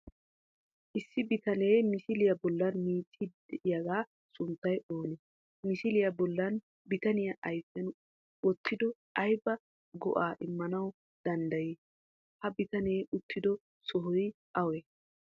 Issi bittanee misiliya bollan miicciydi de7yagaa sunttay oone? Misiliyaa bollan bittane ayfiyan wottido aybaa go7aa immanawu danddayi? Ha bittane uttido sohoy awee?